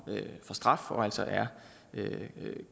straf og altså er